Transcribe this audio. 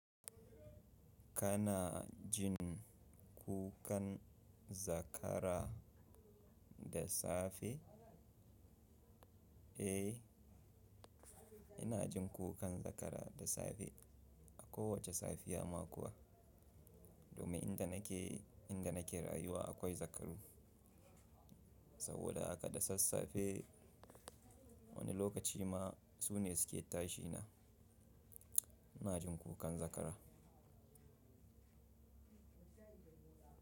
Kana jin kukan zakara da safe? Eh, ina jin kukan zakara da safe a kowace safiya ma kuwa. Domin inda nake, inda nake rayuwa akwai zakaru. Saboda haka da sassafe wani lokaci ma su ne suke tashi na. Ina jin kukan zakara.